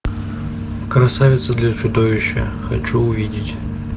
красавица для чудовища хочу увидеть